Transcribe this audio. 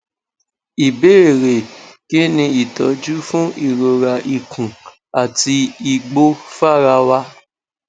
ìbéèrè kí ni itọju fun ìrora ikùn àti ìgbò fàràwà